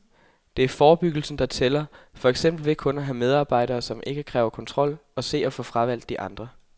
Det er forebyggelsen, der tæller, for eksempel ved kun at have medarbejdere, som ikke kræver kontrol og se at få fravalgt de andre.